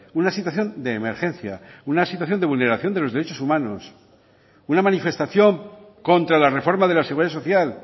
una situación de emergencia una situación de vulneración de los derechos humanos una manifestación contra la reforma de la seguridad social